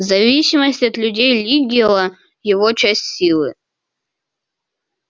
зависимость от людей лигггила его часть силы